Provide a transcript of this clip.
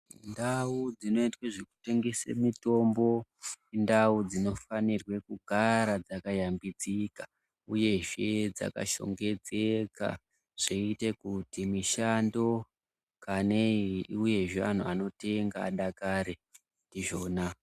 Ndau dzinoitwe zvekutengese mitombo indau dzinofanirwa kugara dzakashambidzika uyezve dzakashongedzeka zvoite kuti mishando kanei iuyezve antu anotenga adakare ndizvona.